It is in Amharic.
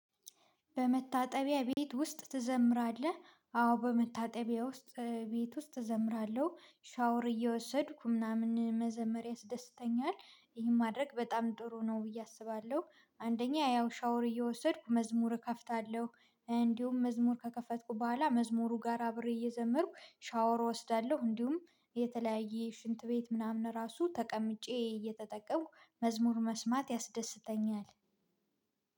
በመታጠቢያ ቤት ውስጥ ትዘምራለህ? አዎ በመታጠቢያ ውስጥ ቤት ውስጥ እዘምራለሁ ሻወር እየወሰድኩ ምናምን መዘመር ያስደስተኛል ይህን ማድረግ በጣም ጥሩ ነው ብዬ አስባለሁ አንደኛ ያው ሻወር እየወሰድኩ መዝሙር እከፍታለሁ እንዲሁም መዝሙር ከከፈትኩ በኋላ መዝሙሩ ጋር አብሬ እየዘመርኩ ሻወር እወስዳለሁ እንዲሁም የተለያየ ሽንት ቤት ምናምን ራሱ ተቀምጬ እየተጠቀምኩ መዝሙር መስማት ያስደስተኛል